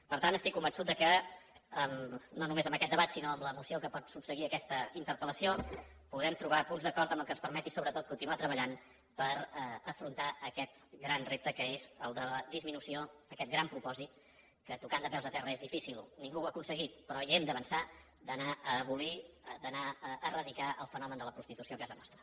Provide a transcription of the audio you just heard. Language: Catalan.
per tant estic convençut que no només en aquest debat sinó en la moció que pot subseguir a aquesta interpellació puguem trobar punts d’acord que ens permetin sobretot continuar treballant per afrontar aquest gran repte que és el de la disminució aquest gran propòsit que tocant de peus a terra és difícil ningú ho ha aconseguit però hi hem d’avançar d’anar a abolir d’anar a eradicar el fenomen de la prostitució a casa nostra